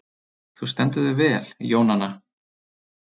Þú stendur þig vel, Jónanna!